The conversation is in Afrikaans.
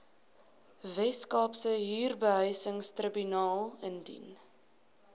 weskaapse huurbehuisingstribunaal indien